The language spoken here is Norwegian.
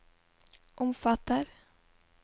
omfatter